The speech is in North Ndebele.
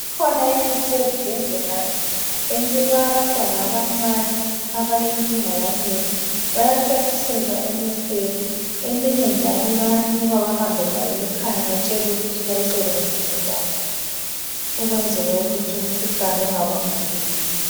Ikhona imithi ezibhedlela enikwa abantwana abancane abalenkinga yamehlo bayathontisela emehlweni eminye njalo bayanikwa behambe layo emakhaya batshelwe ukuthi bayisebenzise njani ukwenzela ukuthi umkhuhlane ungabakhuleli.